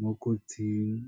mo kotsing.